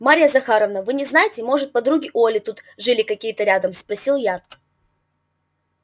марья захаровна вы не знаете может подруги у оли тут жили какие рядом спросил я